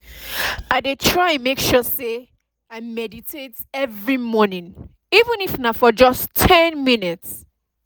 i dey try make sure say i meditate every morning even if na for just ten minutes